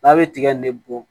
N'a bɛ tiga in de bɔ